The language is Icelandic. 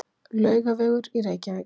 Laugavegur í Reykjavík.